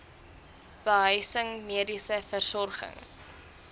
behuising mediese versorging